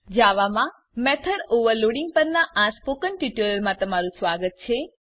જાવા માં method overloading પરનાં spoken ટ્યુટોરીયલમાં સ્વાગત છે